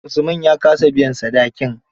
Usman ya ka sa biyan sadakin.